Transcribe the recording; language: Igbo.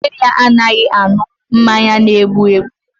Nne ya anaghị aṅụ mmanya na-egbu egbu